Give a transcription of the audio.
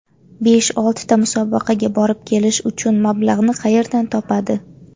Besh-oltita musobaqaga borib kelish uchun mablag‘ni qayerdan topadi?